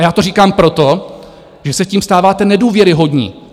A já to říkám proto, že se tím stáváte nedůvěryhodní.